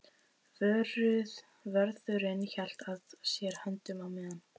Vörðurinn hélt að sér höndum á meðan